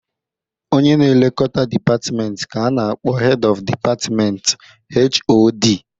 Onye na-elekota dipatmenti ka a na-akpọ Hed ọf Dipatmentị (HoD)